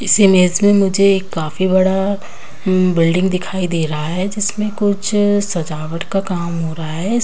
इस इमेज में काफी बड़ा बिल्डिंग दिखाई दे रहा है जिसमे कुछ सजावट का काम हो रहा है।